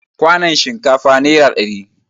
Kwanon shinkafa nera ɗari